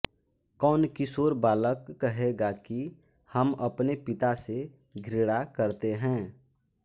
कौन किशोर बालक कहेगा कि हम अपने पिता से घृणा करते हैं